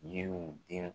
Yiriw denw